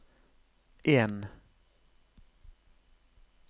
en